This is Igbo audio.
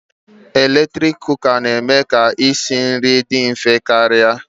Eletrik Kụka na-eme ka isi nri dị mfe karịa